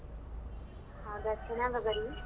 ಹೌದಾ ಚೆನ್ನಾಗಬರಿ .